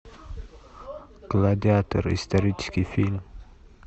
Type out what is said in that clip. гладиатор исторический фильм